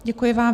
Děkuji vám.